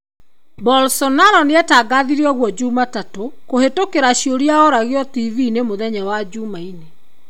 Bolsonaro nĩatangathire oguo jumatatũ kũhĩtũkĩra ciũria ũragio tibii-in mũthenya wa jumaine.